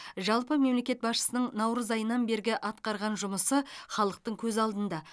жалпы мемлекет басшысының наурыз айынан бергі атқарған жұмысы халықтың көз алдында